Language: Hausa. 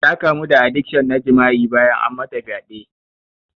Ta kamu da adikshon na jima'i bayan an mata fyaɗe.